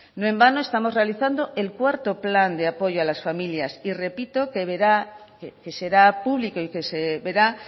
no en vano estamos realizando el cuarto plan de apoyo a las familias y repito que será publicó y que se verá